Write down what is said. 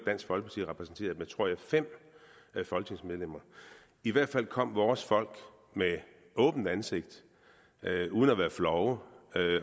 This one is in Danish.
repræsenteret med tror jeg fem folketingsmedlemmer i hvert fald kom vores folk med åbent ansigt uden at være flove